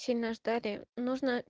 сильно ждали